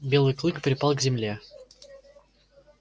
белый клык припал к земле